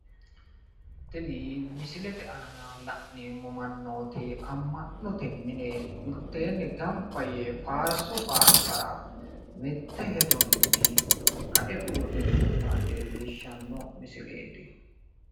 tini misilete aana la'neemmo mannooti ama'note mine mitteenni ganba yee faarso faarsara mitte hedonni kae uurre noota leellishshanno misileeti.